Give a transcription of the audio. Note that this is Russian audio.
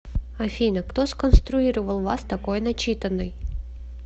афина кто сконструировал вас такой начитанной